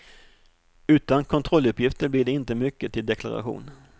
Utan kontrolluppgifter blir det inte mycket till deklaration.